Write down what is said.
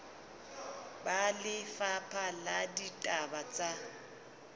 ba lefapha la ditaba tsa